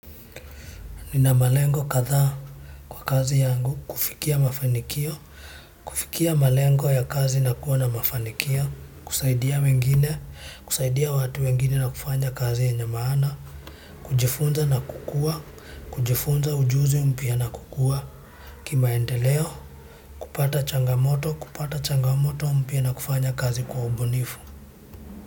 Nina malengo kadha kwa kazi yangu, kufikia mafanikio, kufikia malengo ya kazi na kuwa na mafanikio, kusaidia mengine, kusaidia watu wengine na kufanya kazi yenye maana, kujifunza na kukua, kujifunza ujuzi umpya na kukuwa. Kimaendeleo kupata changamoto mpya na kufanya kazi kwa ubunifu.